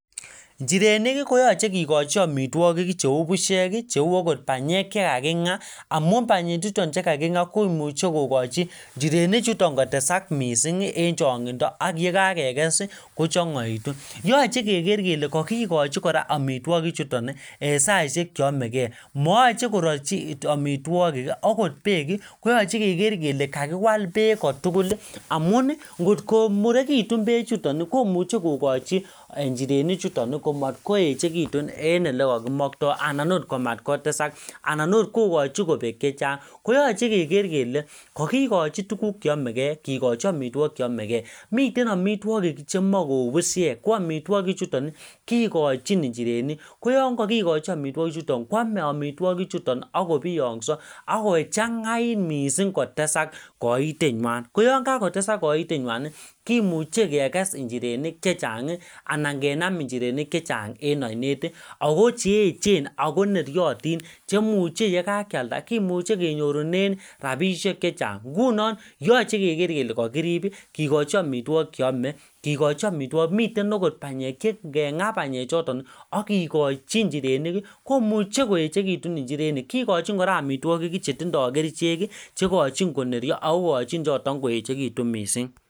Njirenik koyochei kikochi omitwokik cheu pushek cheu akot panyek chekaking'a amu panyechuton chekaking'a komuchei kokochin njirenichuton kotesak mising' eng' chong'indo ak yekakekes kochong'oitu yochei keker kora kole kakikochi omitwokik chuton eng' saishek cheyomegei mayochei kororchi omitwokik akot beek koyochei keker kele kakiwal beek kotugul amun ngot komurekitun bee chuton komuchei kokochin njirenichuton komatkoechekitun en ole kakimoktoi anan akot komatkotesak anan akot kokochin kobek chechang' koyochei keker kele kakikochi tukuk cheyomegei kekochi omitwokik cheyomegei mitei amitwokik chemakou pushiek ko omitwokichutn kikochin njirenik ko yon kakikochi omitwokichuton koomei omitwokichuton akobiyong'so akochang'ait mising' kotesak koitenywai ko yon kakotesak koitenywai kimuchei kekes njirenik chechang' anan kenam njirenik chechang' en onet akocheechen akoneriotin chemuchei yekakealda kemuchei kenyorunen rapishek chechang' nguno yochei keker kele kakirip kikochi omitwokik cheomei kikochi omitwok miten akot panyek ngeng'a panyechoton akikochin njirenik komuchei koechekitun njirenik kikochin kora omitwokik chetindoi kerichek cheikochin konerio akikochin chon koechekitun mising'